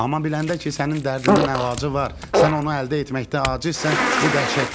Amma biləndə ki, sənin dərdinin əlacı var, sən onu əldə etməkdə acizsən, bu dəhşətlidir.